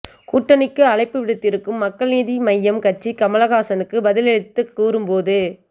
கூட்டணிக்கு அழைப்பு விடுத்திருக்கும் மக்கள் நீதி மையம் கட்சி கமல்ஹாசனுக்கு பதிலளித்து கூறும்போது